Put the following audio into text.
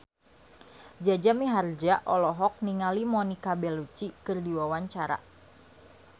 Jaja Mihardja olohok ningali Monica Belluci keur diwawancara